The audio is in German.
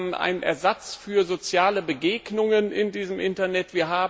Wir haben einen Ersatz für soziale Begegnungen in diesem Internet.